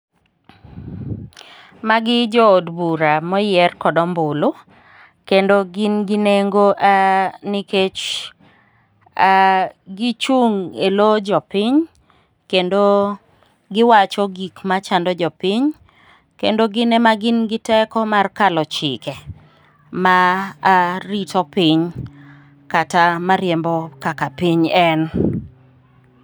Magi jo od bura moyier kod ombulu, kendo gin gi nengo nikech gichung' e lowo jopiny kendo giwacho gik machando jopiny, kendo gin ema gin gi teko mar kalo chike marito piny ,kata mariembo kaka piny en.